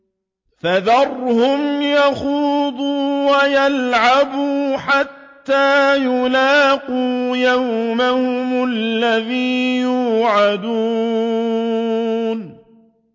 فَذَرْهُمْ يَخُوضُوا وَيَلْعَبُوا حَتَّىٰ يُلَاقُوا يَوْمَهُمُ الَّذِي يُوعَدُونَ